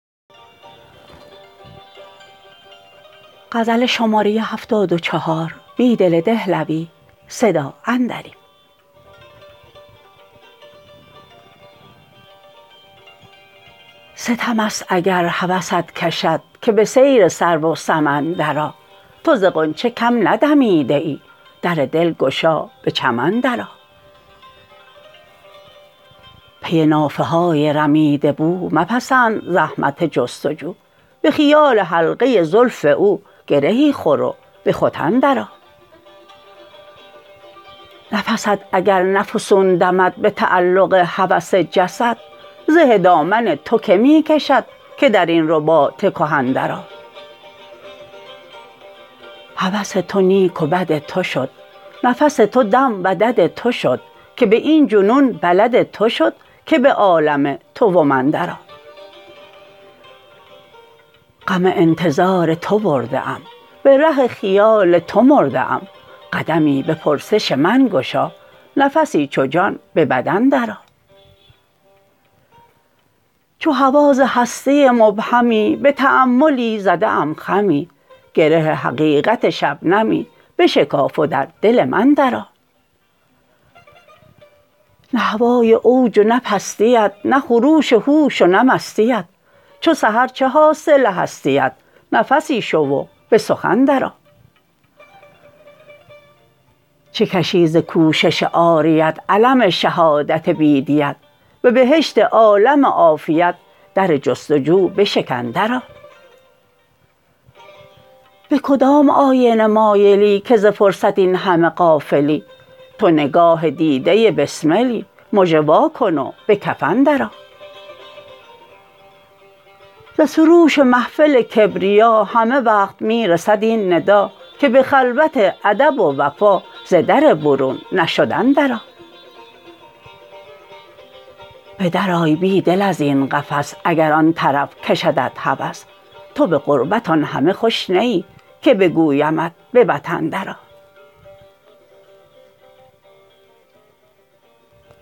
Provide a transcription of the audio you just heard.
ستم است اگر هوست کشد که به سیر سرو و سمن درآ تو ز غنچه کم ندمیده ای در دل گشا به چمن درآ پی نافه های رمیده بو مپسند زحمت جستجو به خیال حلقه زلف او گرهی خور و به ختن درآ نفست اگر نه فسون دمد به تعلق هوس جسد زه دامن توکه می کشد که در این رباط کهن درآ هوس تو نیک و بد تو شد نفس تو دام و دد تو شد که به این جنون بلد تو شد که به عالم تو و من درآ غم انتظار تو برده ام به ره خیال تو مرده ام قدمی به پرسش من گشا نفسی چو جان به بدن درآ چو هوا ز هستی مبهمی به تأملی زده ام خمی گره حقیقت شبنمی بشکاف و در دل من درآ نه هوای اوج و نه پستی ات نه خروش هوش و نه مستی ت چو سحر چه حاصل هستی ات نفسی شو و به سخن درآ چه کشی ز کوشش عاریت الم شهادت بی دیت به بهشت عالم عافیت در جستجو بشکن درآ به کدام آینه مایلی که ز فرصت این همه غافلی تو نگاه دیده بسملی مژه واکن و به کفن درآ ز سروش محفل کبریا همه وقت می رسد این ندا که به خلوت ادب و وفا ز در برون نشدن درآ بدرآی بیدل ازین قفس اگر آن طرف کشدت هوس تو به غربت آن همه خوش نه ای که بگویمت به وطن درآ